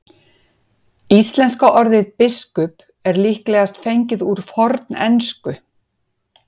Íslenska orðið biskup er líklegast fengið úr fornensku.